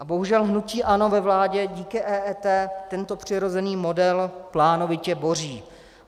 A bohužel hnutí ANO ve vládě díky EET tento přirozený model plánovitě boří.